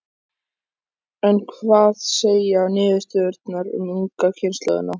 En hvað segja niðurstöðurnar um ungu kynslóðina?